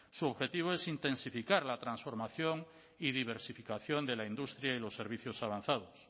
su objetivo es intensificar la transformación y diversificación de la industria y los servicios avanzados